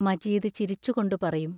മജീദ് ചിരിച്ചുകൊണ്ടു പറയും